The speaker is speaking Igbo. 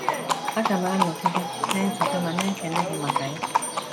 Aga m anọgide na-echeta ma na-ekele gị maka ya.